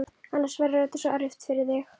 Annars verður þetta svo erfitt fyrir þig.